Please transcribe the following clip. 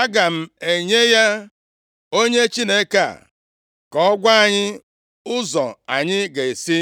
Aga m enye ya onye Chineke a ka ọ gwa anyị ụzọ anyị ga-esi.”